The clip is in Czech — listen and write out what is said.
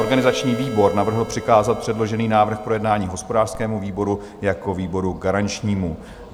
Organizační výbor navrhl přikázat předložený návrh k projednání hospodářskému výboru jako výboru garančnímu.